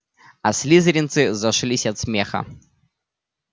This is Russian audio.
а слизеринцы зашлись от смеха